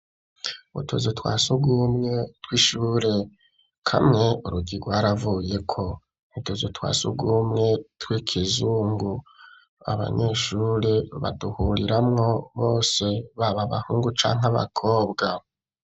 Utuzu twa sugumwe tw'ishure kamwe urugi gwaravuyeko. N'utuzu twa sugumwe tw'ikizungu abanyeshure baduhuriramwo bose baba bahungu canke abakobwa.